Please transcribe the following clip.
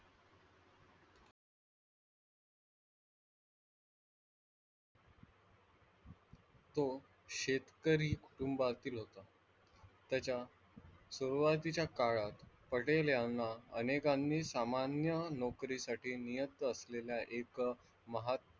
तो शेतकरी कुटुंबातील होता त्याच्या सुरुवातीच्या काळात पटेल यांना अनेकांना सामान्य नोकरीसाठी नियुक्त असलेल्या एक,